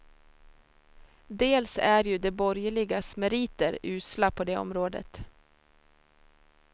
Dels är ju de borgerligas meriter usla på det området.